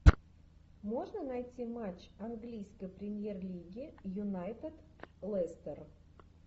можно найти матч английской премьер лиги юнайтед лестер